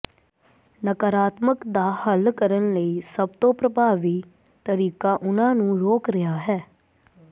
ਨਕਾਰਾਤਮਕ ਦਾ ਹੱਲ ਕਰਨ ਲਈ ਸਭ ਤੋਂ ਪ੍ਰਭਾਵੀ ਤਰੀਕਾ ਉਹਨਾਂ ਨੂੰ ਰੋਕ ਰਿਹਾ ਹੈ